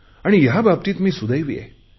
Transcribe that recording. आणि याबाबतीत मी सुदैवी आहे